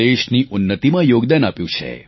દેશની ઉન્નતિમાં યોગદાન આપ્યું છે